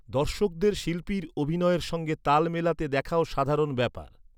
দর্শকদের শিল্পীর অভিনয়ের সঙ্গে তাল মেলাতে দেখাও সাধারণ ব্যাপার।